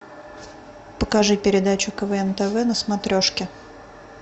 покажи передачу квн тв на смотрешке